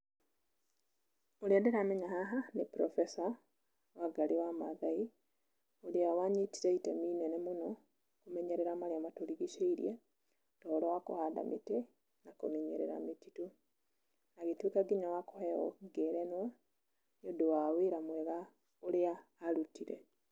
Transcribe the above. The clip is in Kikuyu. Ũrĩa ndĩramenya haha nĩ professor Wangarĩ wa maathai ũrĩa wanyitire itemi inene mũno kũmenyerera marĩa matũrigicĩirie ta ũhoro wa kũhanda mĩtĩ na kũmenyerera mĩtitũ. Agĩtuĩka nginya wa kũheo ngerenwa nĩndũ wa wĩra mwega ũrĩa arutire.